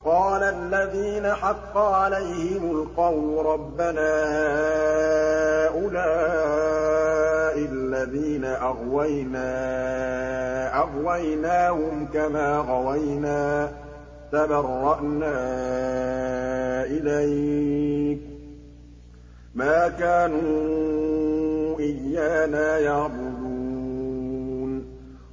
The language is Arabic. قَالَ الَّذِينَ حَقَّ عَلَيْهِمُ الْقَوْلُ رَبَّنَا هَٰؤُلَاءِ الَّذِينَ أَغْوَيْنَا أَغْوَيْنَاهُمْ كَمَا غَوَيْنَا ۖ تَبَرَّأْنَا إِلَيْكَ ۖ مَا كَانُوا إِيَّانَا يَعْبُدُونَ